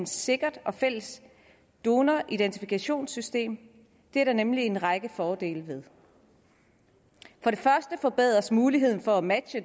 sikkert fælles donoridentifikationssystem det er der nemlig en række fordele ved for det første forbedres muligheden for at matche